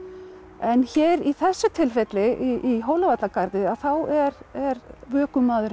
en hér í þessu tilfelli í Hólavallagarði þá er